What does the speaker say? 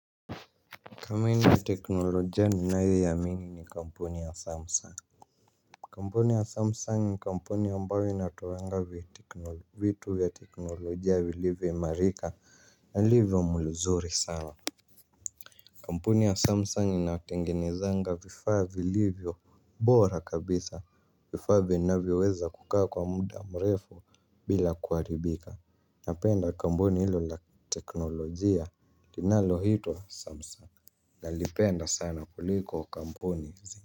Kampuni ya teknolojia ninayoiamini ni kampuni ya Samsung. Kampuni ya Samsung ni kampuni ambayo inatoanga vitu ya teknolojia vilivyoimarika na livyo mzuri sana. Kampuni ya Samsung inatengenezanga vifaa vilivyo bora kabisa vifaa vinavyoweza kukaa kwa muda mrefu bila kuharibika. Napenda kampuni hilo la teknolojia linaloitwa samsung nalipenda sana kuliko kampuni zingine.